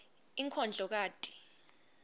inkondlokati